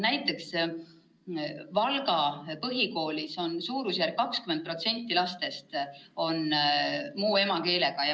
Näiteks Valga Põhikoolis on umbes 20% lastest muu emakeelega.